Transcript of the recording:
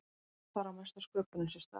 þar á mesta sköpunin sér stað